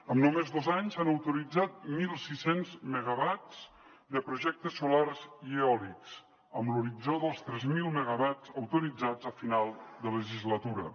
en només dos anys s’han autoritzat mil sis cents megawatts de projectes solars i eòlics amb l’horitzó dels tres mil megawatts autoritzats a final de legislatura